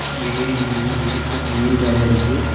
வீடு தெரியுது ஏரி பக்கத்துல ஏரி கரை இருக்கு.